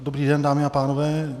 Dobrý den, dámy a pánové.